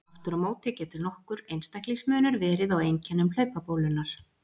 Aftur á móti getur nokkur einstaklingsmunur verið á einkennum hlaupabólunnar.